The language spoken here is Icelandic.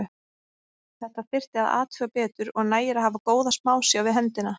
Þetta þyrfti að athuga betur og nægir að hafa góða smásjá við hendina.